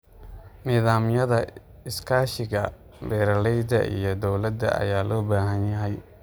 Nidaamyada iskaashiga beeralayda iyo dawladda ayaa loo baahan yahay.